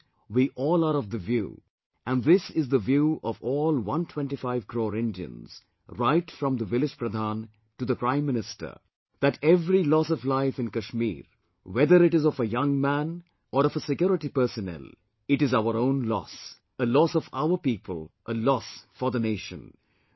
And, we all are of the view, and this is the view of all 125 crore Indians, right from the village Pradhan to the Prime Minister that every loss of life in Kashmir whether it is of a young man or of a security personnel it is our own loss, a loss of our people, a loss for the nation